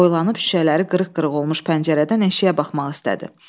Boylanıb şüşələri qırıq-qırıq olmuş pəncərədən eşiyə baxmaq istədi.